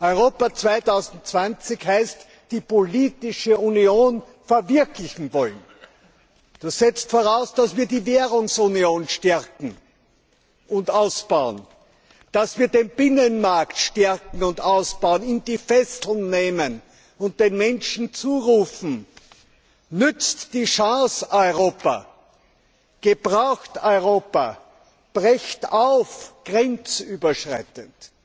Europa 2020 heißt, die politische Union verwirklichen zu wollen. Das setzt voraus, dass wir die Währungsunion stärken und ausbauen, dass wir den Binnenmarkt stärken und ausbauen, ihm die Fesseln nehmen und den Menschen zurufen Nützt die Chance Europa, gebraucht Europa, brecht auf grenzüberschreitend!